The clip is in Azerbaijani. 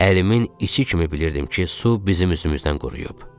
Əlimin içi kimi bilirdim ki, su bizim üzümüzdən quruyub.